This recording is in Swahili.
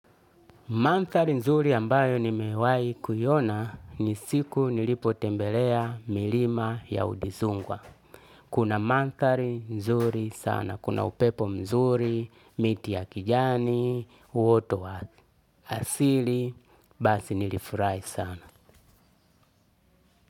Manthari nzuri ambayo nimewai kuiona ni siku nilipotembelea milima ya udizungwa. Kuna mantari nzuri sana. Kuna upepo mzuri, miti ya kijani, waterways. Asili, basi nilifurahi sana.